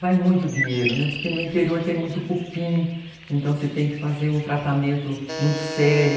Vai muito dinheiro, né, porque no interior tem muito cupim, então você tem que fazer um tratamento muito sério.